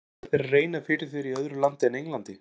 Langar þér að reyna fyrir þér í öðru landi en Englandi?